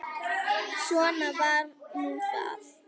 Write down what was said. Svona var nú það.